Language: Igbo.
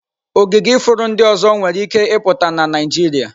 Ogige ifuru ndị ọzọ nwere ike ịpụta na Naịjirịa.